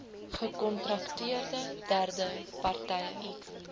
gekontrakteerde derde partye